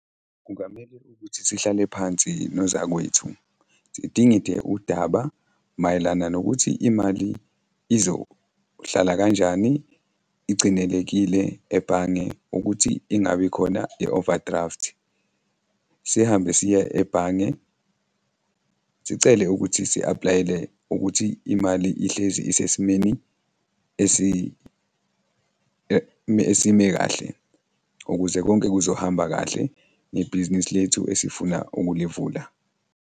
Kungamele ukuthi sihlale phansi nozakwethu, sidingide udaba mayelana nokuthi imali izohlala kanjani igcinelekile ebhange ukuthi ingabi khona i-overdraft. Sihambe siye ebhange, sicele ukuthi si-apply-ele ukuthi imali ihlezi isesimeni esime kahle ukuze konke kuzohamba kahle ngebhizinisi lethu esifuna ukulivula.